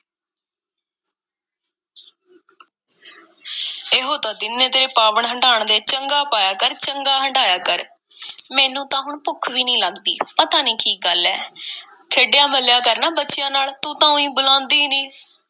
ਇਹੋ ਤਾਂ ਦਿਨ ਨੇ ਤੇਰੇ ਪਾਵਣ-ਹੰਢਾਣ ਦੇ, ਚੰਗਾ ਪਾਇਆ ਕਰ, ਚੰਗਾ ਹੰਢਾਇਆ ਕਰ, ਮੈਨੂੰ ਤਾਂ ਹੁਣ ਭੁੱਖ ਵੀ ਨਹੀਂ ਲੱਗਦੀ, ਪਤਾ ਨਹੀਂ ਕੀ ਗੱਲ ਏ? ਖੇਡਿਆ-ਮੱਲ੍ਹਿਆ ਕਰ ਨਾ ਬੱਚਿਆਂ ਨਾਲ, ਤੂੰ ਤਾਂ ਊਈਂਂ ਬੁਲਾਉਂਦੀ ਈ ਨਹੀਂ।